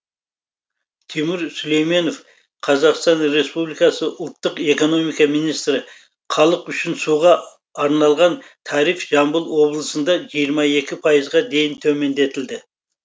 тимур сүлейменов қазақстан республикасы ұлттық экономика министрі халық үшін суға арналған тариф жамбыл облысында жиырма екі пайызға дейін төмендетілді